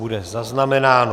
Bude zaznamenáno.